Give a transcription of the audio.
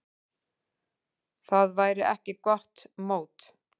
Það væri ekki gott mót.